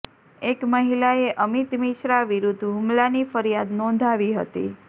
એક મહિલાએ અમિત મિશ્રા વિરૂદ્ધ હુમલાની ફરિયાદ નોંધાવી હતી